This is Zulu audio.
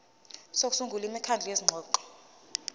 sokusungula imikhandlu yezingxoxo